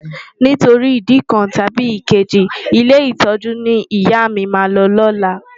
Nítorí ìdí kan tàbí èkejì, ilé ìtọ́jú ni ìyá mi máa lọ ní ọ̀la.